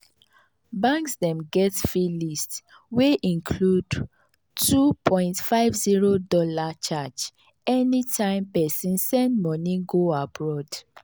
banks dem get fee list wey include $2.50 charge anytime person send money go abroad.